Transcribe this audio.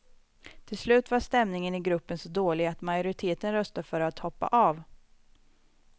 Till slut var stämningen i gruppen så dålig att majoriteten röstade för att hoppa av.